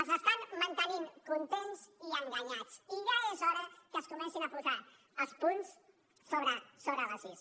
els estan mantenint contents i enganyats i ja és hora que es comencin a posar els punts sobre les is